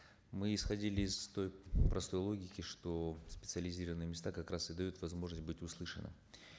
мы исходили из той простой логики что специализированные места как раз и дают возможность быть услышанным